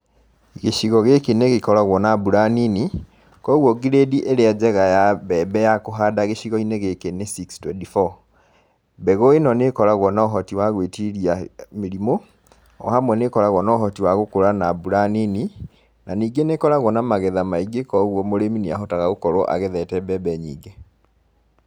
Gĩcigo gĩkĩ nĩ gĩkoragwo na mbura nini, koguo ngirĩndĩ ĩrĩa njega ya mbembe ya kũhanda gĩcigo-inĩ gĩkĩ nĩ six twenty four . Mbegũ ĩno nĩ ĩkoragwo na ũhoti wa gwĩtiria mĩrimũ, o hamwe nĩ ĩkoragwo na ũhoti wa gũkũra na mbura nini, na ningĩ nĩkoragwo na magetha maingĩ, kũguo mũrĩmi niahotaga gũkorwo agethete mbembe nyingĩ.